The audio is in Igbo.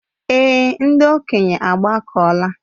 Èé, ndị okenye agbakọla.